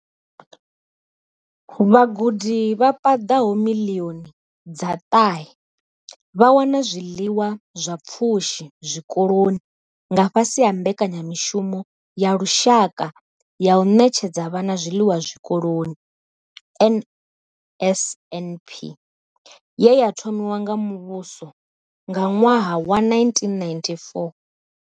Vhagudi vha paḓaho miḽioni dza ṱahe vha wana zwiḽiwa zwa pfushi zwikoloni nga fhasi ha mbekanyamushumo ya lushaka ya u ṋetshedza vhana zwiḽiwa zwikoloni, NSNP, ye ya thomiwa nga muvhuso nga ṅwaha wa 1994.